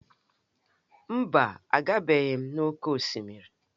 Mba, agabeghị m n'oké osimiri.